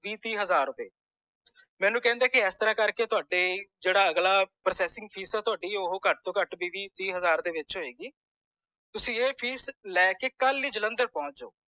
ਬੀਹ ਤੀਹ ਹਜ਼ਾਰ ਰੁਪਏ ਮੈਨੂੰ ਕਹਿੰਦੇ ਐਸਤਰਾਹ ਕਰਕੇ ਤੁਹਾਡੇ ਜੇਦਾ ਅਗਲਾ processing fees ਤੁਹਾਡੀ ਉਹ ਘਟ ਤੋਂ ਘਟ ਬੀਹ ਤੀਹ ਹਜ਼ਾਰ ਦੇ ਵਿਚ ਹੋਏਗੀ ਤੁਸੀ ਇਹ fees ਲੈਕੇ ਕਲ ਹੀ ਜਲੰਧਰ ਪੌਂਚ ਜੋ